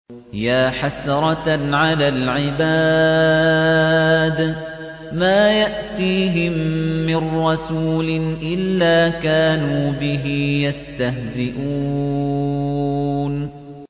يَا حَسْرَةً عَلَى الْعِبَادِ ۚ مَا يَأْتِيهِم مِّن رَّسُولٍ إِلَّا كَانُوا بِهِ يَسْتَهْزِئُونَ